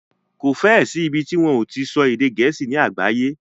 Kò fẹ́ ẹ sí ìbi tí wọ́n o ti so èdè gẹ̀ẹ́sì ní àgbáyé.